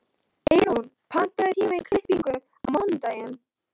Eyrún, pantaðu tíma í klippingu á mánudaginn.